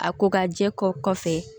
A ko ka jɛ kɔ kɔfɛ